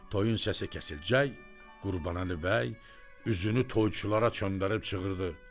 Toyun səsi kəsilcək, Qurbanəli bəy üzünü toyçulara döndərib çığırdı.